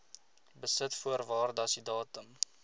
besit voor waardasiedatum